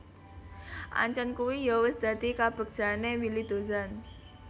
Ancen kuwi yo wis dadi kabegjane Willy Dozan